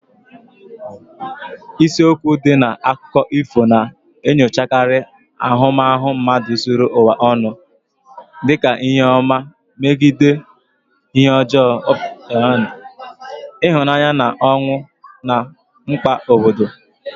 Isiokwu ndị dị na akụkọ ifo na-enyochakarị ahụmahụ mmadụ zuru ụwa ọnụ, dị ka ihe ọma megide ihe ọjọọ, ịhụnanya na ọnwụ, na mkpa obodo.